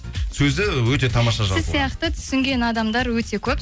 сөзі өте тамаша жазылған сіз сияқты түсінген адамдар өте көп